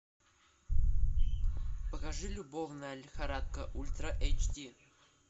покажи любовная лихорадка ультра эйч ди